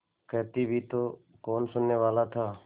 कहती भी तो कौन सुनने वाला था